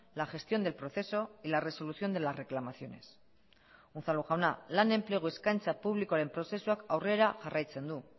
la gestión del proceso y la resolución de las reclamaciones unzalu jauna lan enplegu eskaintza publikoaren prozesuak aurrera jarraitzen du